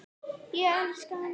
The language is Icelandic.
Ég elska hana.